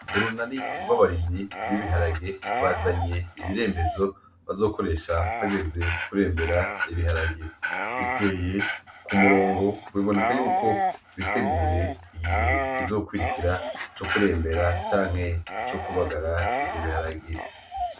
Urunani rw’abarimyi bibi haragi bazanye ibirembezo bazokoresha hageze kurembera hageze kurembera ibiharage biteye ku murongo biboneka yuko biteguye igihe kizokurikira ca kurembera canke co kubagara ivyo biharage.